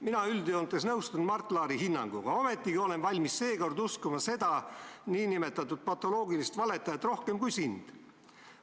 " Mina üldjoontes nõustun Mart Laari hinnanguga, ometigi olen valmis seekord uskuma seda nn patoloogilist valetajat rohkem kui sind.